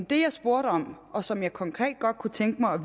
det jeg spurgte om og som jeg konkret godt kunne tænke mig at